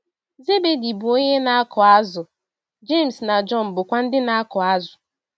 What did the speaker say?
Zebedi bụ onye na - akụ azụ̀, Jems na Jọn bụkwa ndị na - akụ azụ̀.